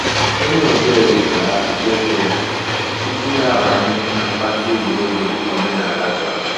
Ònyè ọ̀ bịa wépụ̀rù àkpụ̀kpọ̀ ǔ́kwụ̀ yà túpù yà àbànyè nà mpàka ègwè́ré́gwụ̀, dị̀ka òmènàlà chọ̀rọ̀.